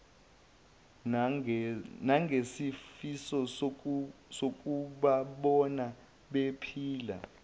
nangesifiso sokubabona bephila